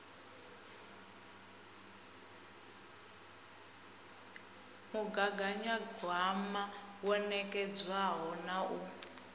mugaganyagwama wo nekedzwaho na u